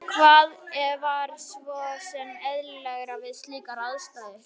Og hvað var svo sem eðlilegra við slíkar aðstæður?